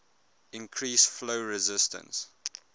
increase flow resistance